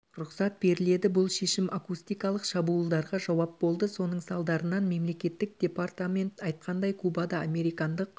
рұқсат беріледі бұл шешім акустикалық шабуылдарға жауап болды соның салдарынан мемлекеттік департамент айтқандай кубада американдық